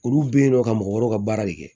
Olu bɛ yen nɔ ka mɔgɔ wɛrɛw ka baara de kɛ